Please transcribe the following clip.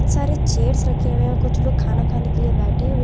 बहुत सारे चेयर्स रखे हुए हैं कुछ लोग खाना खाने के लिए बैठे हुए--